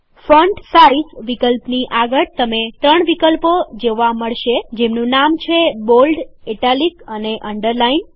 font size વિકલ્પની આગળ તમે ત્રણ વિકલ્પો જોવા મળશે જેમનું નામ છે બોલ્ડ ઇટાલિક અને અન્ડરલાઈન